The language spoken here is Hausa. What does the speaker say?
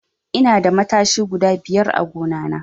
Ina da matashi guda biyar a gadona.